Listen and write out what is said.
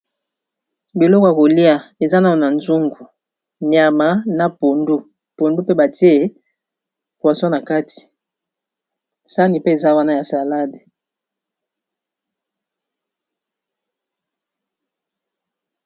Biloko ya kolia eza nanu na nzungu nyama na pondu, pondu pe batie poisson na kati sani pe eza wana ya salade.